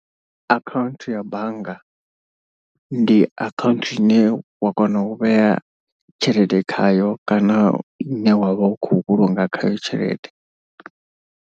Akhaunthu ya bannga, ndi akhaunthu ine wa kona u vhea tshelede khayo kana ine wa vha u khou vhulunga khayo tshelede.